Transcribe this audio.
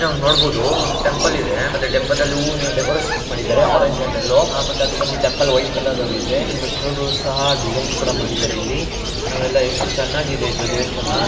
ನಾವ್ ನೋಡಬಹುದು ಒಂದು ಟೆಂಪಲ್ ಇದೆ ಟೆಂಪಲ್ ನಲ್ಲಿ ಹೂವಿನ ಡೆಕೋರೇಷನ್ ಮಾಡಿದ್ದಾರೆ.